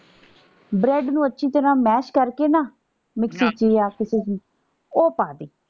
bread ਨੂੰ ਅੱਛੀ ਤਰ੍ਹਾਂ ਮੈਸ਼ ਕਰਕੇ ਨਾ ਮਿਕਸੀ ਚ ਯਾਂ ਕਿਸੇ ਵੀ ਉਹ ਪਾ ਦੇ।